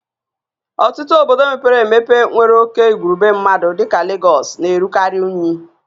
Ọtụtụ obodo mepere emepe nwere oke igwurube mmadụ dịka Legọs na-erukarị unyi